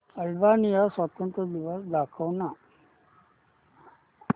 Albania स्वातंत्र्य दिवस दाखव ना